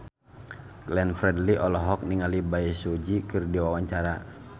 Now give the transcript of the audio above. Glenn Fredly olohok ningali Bae Su Ji keur diwawancara